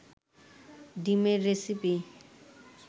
ডিমের রেসিপি